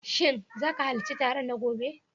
Shin za ka halarci taron na gobe?